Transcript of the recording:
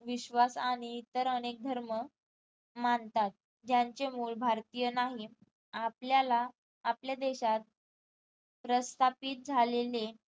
विश्वास आणि इतर अनेक धर्म मानतात ज्यांचे मूळ भारतीय नाही आपल्याला आपल्या देशात प्रस्तापित झालेले